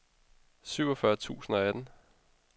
syvogfyrre tusind og atten